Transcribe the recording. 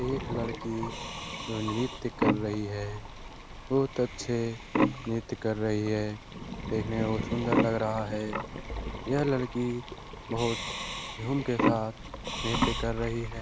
एक लड़की नृत्य कर रही है बहुत अच्छे नृत्य कर रही है देखने मे बहुत सुंदर लग रहा है यह लड़की बहुत झूम के साथ नृत्य कर रही है।